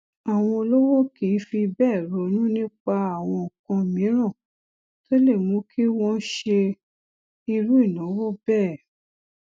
déètì àkáǹtì ìsanwójáde ìsanwówọlé àkáǹtì ọjààwìn jẹ dúkìá àkáǹtì kan tó ń lé sí i